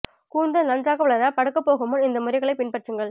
கூந்தல் நன்றாக வளர படுக்க போகும் முன் இந்த முறைகளை பின்பற்றுங்கள்